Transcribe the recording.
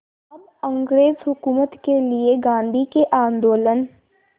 अब अंग्रेज़ हुकूमत के लिए गांधी के आंदोलन